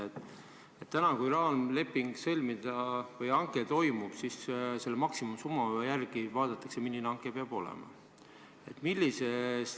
Kui täna sõlmida raamleping või toimub hange, siis selle maksimumsumma järgi vaadatakse, milline peab hange olema.